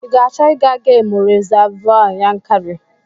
I ga-achọ ịga gemụ rizavụ Yankari?